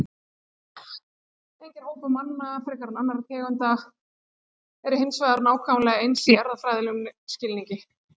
Engir hópar manna frekar en annarra tegunda eru hins vegar nákvæmlega eins í erfðafræðilegum skilningi.